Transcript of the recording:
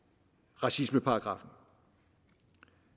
racismeparagraffen